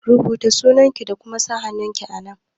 Rubuta sunanki da kuma sa hannunki a nan!